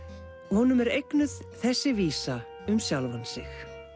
honum er eignuð þessi vísa um sjálfan sig